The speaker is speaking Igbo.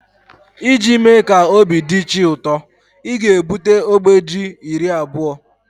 iji mee ka obi dị chi ụtọ, ị ga-ebute ogbe Ji iri abụọ